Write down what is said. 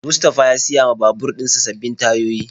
Mustapha ya siya ma babur dinsa sabbin tayoyi.